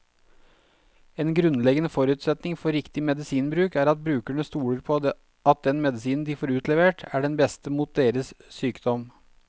En grunnleggende forutsetning for riktig medisinbruk er at brukerne stoler på at den medisinen de får utlevert, er den beste mot deres sykdom.